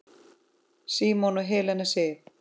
Símon og Helena Sif.